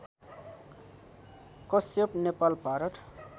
Kashyap Nepal Bharat